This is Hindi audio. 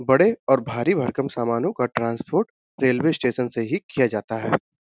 बड़े और भारी भरकम सामानों का ट्रान्सपोर्ट रेलवे स्टेशन से ही किया जाता है।